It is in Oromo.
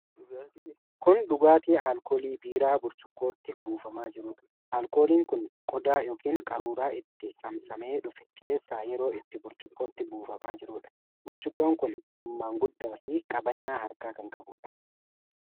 Kun dhugaatii alkoolii biiraa, burcuqqootti buufamaa jiruudha. Alkooliin kun qodaa yookiin qaruuraa itti saamsamee dhufe keessaa yeroo itti burcuqqootti buufamaa jiruudha. Burcuqqooon kun hammaan guddaa fi qabannaa harkaa kan qabuudha.